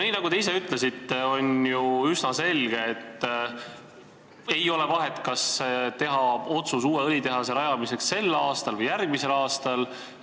Nii nagu te ise ütlesite, on ju üsna selge, et ei ole vahet, kas teha otsus uue õlitehase rajamiseks sel või järgmisel aastal.